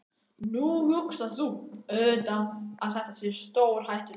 Nú hugsar þú auðvitað að þetta sé stórhættulegt.